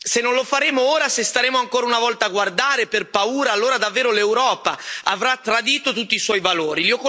Se non lo faremo ora, se staremo ancora una volta a guardare per paura, allora davvero l'Europa avrà tradito tutti i suoi valori.